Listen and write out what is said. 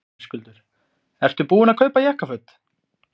Höskuldur: Ertu búinn að kaupa jakkaföt?